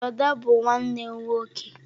Brọdá bụ nwanne nwoke.